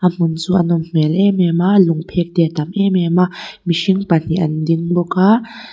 a hmun chu a nawm hmel em em a lung phek te a tam em em a mihring pahnih an ding bawk a.